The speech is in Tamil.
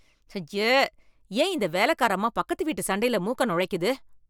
அய்யே, ஏன் இந்த வேலைக்கார அம்மா பக்கத்து வீட்டுச் சண்டையில மூக்கை நொளைக்குது.